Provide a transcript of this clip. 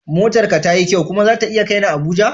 Motar ka tayi kyau kuma zata iya kai ni Abuja?